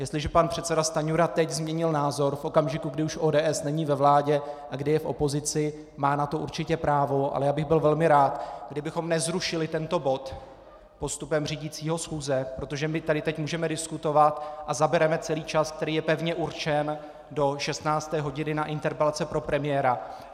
Jestliže pan předseda Stanjura teď změnil názor v okamžiku, kdy už ODS není ve vládě a kdy je v opozici, má na to určitě právo, ale já bych byl velmi rád, kdybychom nezrušili tento bod postupem řídícího schůze, protože my tady teď můžeme diskutovat a zabereme celý čas, který je pevně určen do 16 hodin na interpelace pro premiéra.